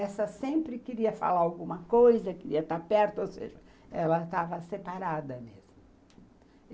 Essa sempre queria falar alguma coisa, queria estar perto, ou seja, ela estava separada mesmo.